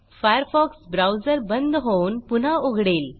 Firefox browser बंद होऊन पुन्हा उघडेल